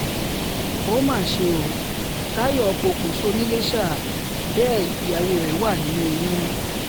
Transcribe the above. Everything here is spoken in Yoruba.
ó mà ṣe o táyọ̀ pokùnso nìlèṣà bẹ́ẹ̀ ìyàwó rẹ̀ wà nínú oyún